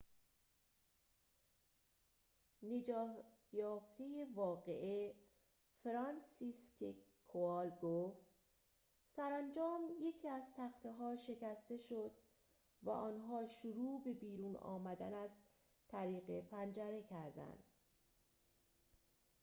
نجات یافته واقعه فرانسیسکک کوال گفت سرانجام یکی از تخته ها شکسته شد و آنها شروع به بیرون آمدن از طریق پنجره کردند